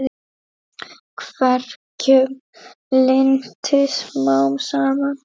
Verkjum linnti smám saman.